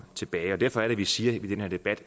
tilbage derfor er det vi siger i den her debat